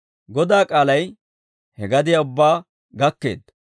Godaa k'aalay he gadiyaa ubbaa gakkeedda.